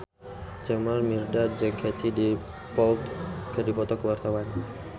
Jamal Mirdad jeung Katie Dippold keur dipoto ku wartawan